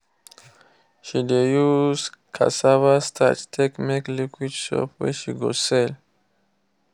she de use cassava starch take make liquid soap wey she go sell.